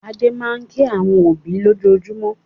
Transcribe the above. Adé máa ń kí àwọn òbí lójoojúmọ́.